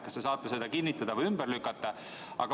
Kas te saate seda kinnitada või ümber lükata?